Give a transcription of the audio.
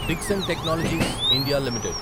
Dixon Technologies India limited